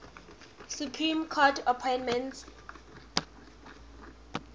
supreme court appointments